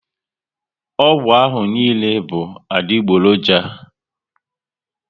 Ọgwụ ahụ niile bụ adigboroja